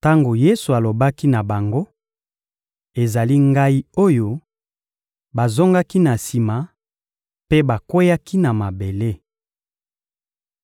Tango Yesu alobaki na bango: «Ezali Ngai oyo,» bazongaki na sima mpe bakweyaki na mabele.